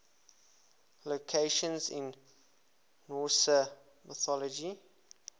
locations in norse mythology